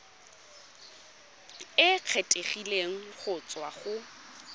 e kgethegileng go tswa go